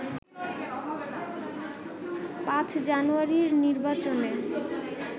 ৫ জানুয়ারির নির্বাচনে